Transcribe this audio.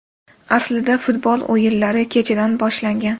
Aslida futbol o‘yinlari kechadan boshlangan.